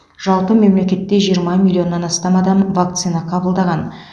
жалпы мемлекетте жиырма миллионнан астам адам вакцина қабылдаған